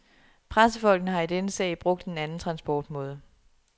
Pressefolkene har i denne sag brugt en anden transportmåde.